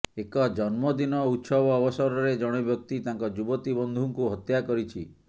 ଏକ ଜନ୍ମଦିନ ଉତ୍ସବ ଅବସରରେ ଜଣେ ବ୍ୟକ୍ତି ତାଙ୍କ ଯୁବତୀ ବନ୍ଧୁଙ୍କୁ ହତ୍ୟା କରିଛି